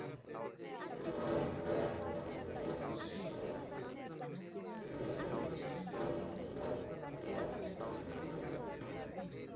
Logi Bergmann Eiðsson: Eru stór nöfn væntanleg?